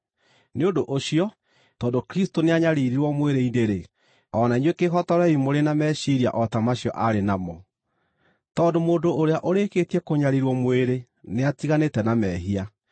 Nĩ ũndũ ũcio, tondũ Kristũ nĩanyariirirwo mwĩrĩ-inĩ-rĩ, o na inyuĩ kĩĩhotorei mũrĩ na meciiria o ta macio aarĩ namo, tondũ mũndũ ũrĩa ũrĩkĩtie kũnyariirwo mwĩrĩ nĩatiganĩte na mehia.